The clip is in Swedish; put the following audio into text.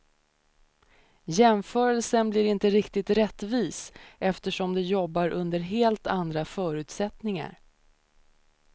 Jämförelsen blir inte riktigt rättvis eftersom de jobbar under helt andra förutsättningar.